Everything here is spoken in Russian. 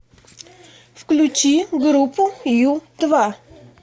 включи группу ю два